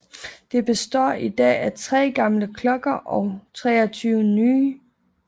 Det består i dag af 3 gamle klokker og 23 nye